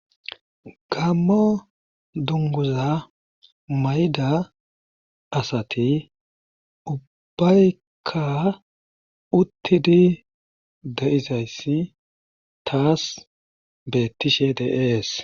Gaammo dungguza mayida asati ubbayka uttidi de7izayssa taas beettishe de7ees.